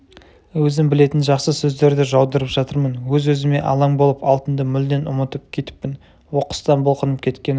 өзім білетін жақсы сөздерді жаудырып жатырмын өз-өзіме алаң болып алтынды мүлдем ұмытып кетіппін оқыстан бұлқынып кеткені